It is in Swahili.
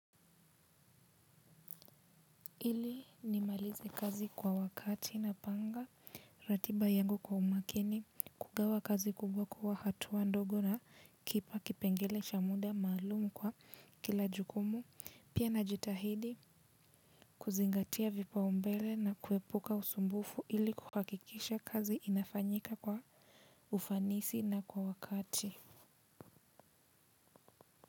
Ili nimalize kazi kwa wakati napanga, ratiba yangu kwa umakini, kugawa kazi kubwa kuwa hatua ndogo na kipa kipengele cha muda maalumu kwa kila jukumu, pia najitahidi kuzingatia vipaumbele na kuepuka usumbufu ili kuhakikisha kazi inafanyika kwa ufanisi na kwa wakati.